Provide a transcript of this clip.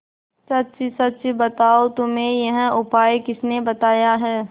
सच सच बताओ तुम्हें यह उपाय किसने बताया है